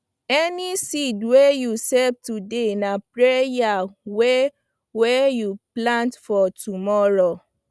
any seed wey you save today na prayer wey wey you plant for tomorrow